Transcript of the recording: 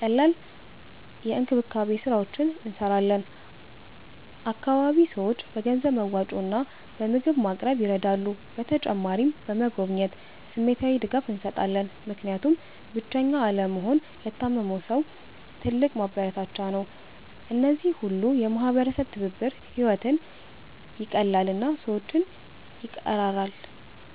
ቀላል የእንክብካቤ ስራዎች እንሰራለን። አካባቢ ሰዎች በገንዘብ መዋጮ እና በምግብ ማቅረብ ይረዳሉ። በተጨማሪም በመጎብኘት ስሜታዊ ድጋፍ እንሰጣለን፣ ምክንያቱም ብቸኛ አለመሆን ለታመመ ሰው ትልቅ ማበረታቻ ነው። እነዚህ ሁሉ የማህበረሰብ ትብብር ሕይወትን ይቀላል እና ሰዎችን ይቀራራል።